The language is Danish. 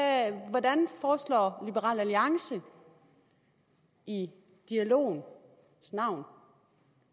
hvordan foreslår liberal alliance i dialogens navn